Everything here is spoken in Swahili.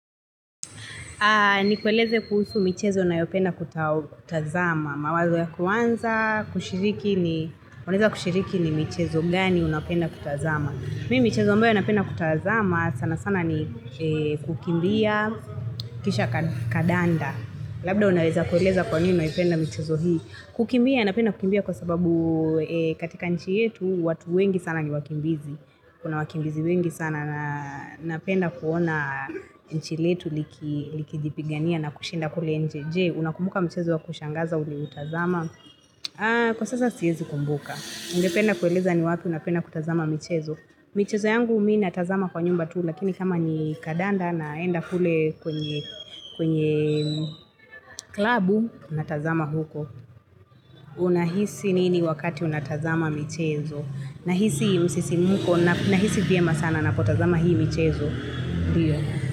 Ni kueleze kuhusu michezo nayopenda kutazama. Mawazo ya kwanza kushiriki ni michezo gani unapenda kutazama. Mimi michezo ambayo napenda kutazama sana sana ni kukimbia kisha kandanda. Labda unaeza kueleza kwa nini uinapenda michezo hii. Kukimbia napenda kukimbia kwa sababu katika nchi yetu watu wengi sana ni wakimbizi. Kuna wakimbizi wengi sana na napenda kuona nchi letu likijipigania na kushinda kule nje Unakumbuka mchezo wa kushangaza ulioutazama? Kwa sasa siezi kumbuka. Ungependa kueleza ni wapi unapenda kutazama michezo. Michezo yangu mimi natazama kwa nyumba tuu. Lakini kama ni kandanda naenda kule kwenye klabu, natazama huko. Unahisi nini wakati unatazama michezo. Nahisi msisimko nahisi vyema sana napotazama hii michezo.